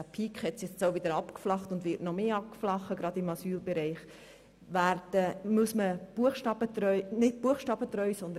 Sie kommen ja nicht jeden Tag vor, und gerade der Peak im Asylbereich hat sich nun wieder abgeflacht und wird sich noch weiter abflachen.